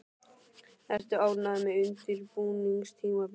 Ertu ánægður með undirbúningstímabilið?